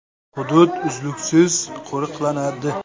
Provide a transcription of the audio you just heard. Hudud uzluksiz qo‘riqlanadi.